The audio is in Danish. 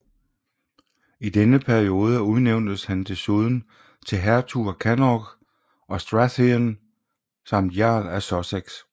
I denne periode udnævntes han desuden til hertug af Connaught og Strathearn samt jarl af Sussex